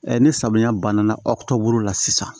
ni samiya banna aw ka bolo la sisan